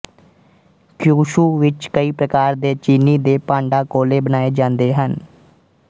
Kyushu ਵਿੱਚ ਕਈ ਪ੍ਰਕਾਰ ਦੇ ਚੀਨੀ ਦੇ ਭਾਂਡਾਕੌਲੇ ਬਣਾਏ ਜਾਂਦੇ ਹਨ